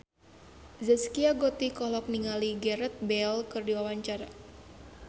Zaskia Gotik olohok ningali Gareth Bale keur diwawancara